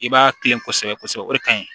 I b'a kilen kosɛbɛ kosɛbɛ o de ka ɲi